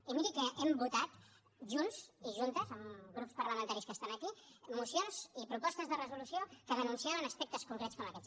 i miri que hem votat junts i juntes amb grups parlamentaris que estan aquí mocions i propostes de resolució que denunciaven aspectes concrets com aquests